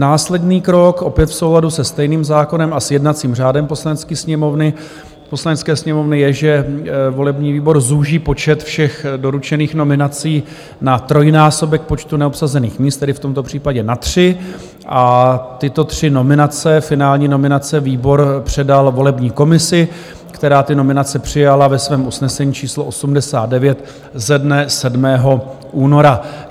Následný krok, opět v souladu se stejným zákonem a s jednacím řádem Poslanecké sněmovny, je, že volební výbor zúží počet všech doručených nominací na trojnásobek počtu neobsazených míst, tedy v tomto případě na tři, a tyto tři nominace, finální nominace, výbor předal volební komisi, která ty nominace přijala ve svém usnesení číslo 89 ze dne 7. února.